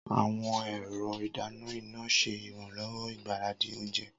Awọn ẹrọ idana ina ṣe iranlọwọ igbaradi ounjẹ.